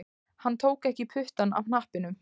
Hann tók ekki puttann af hnappinum